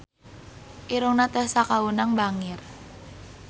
Irungna Tessa Kaunang bangir